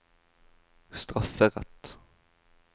strafferett